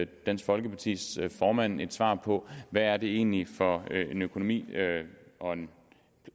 dansk folkepartis formand et svar på hvad det egentlig er for en økonomi og